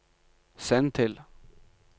send til